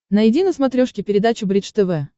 найди на смотрешке передачу бридж тв